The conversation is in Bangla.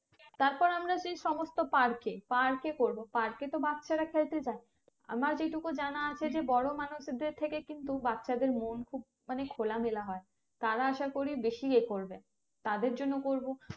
তারপর আমরা যে সমস্ত park এ park এ করবো Park এ তো বাচ্চারা খেলতে যাই আমার যেইটুকু জানা আছে যে বড় মানুষদের থেকে কিন্তু বাচ্চা দেড় মন খুব খোলা মেলা হয় তারা আসা করি বেশি এ করবে তাদের জন্য করবো